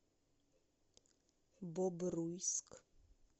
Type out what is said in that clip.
бобруйск